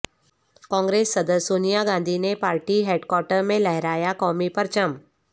کانگریس صدر سونیا گاندھی نے party headquarter میں لہرایا قومی پرچم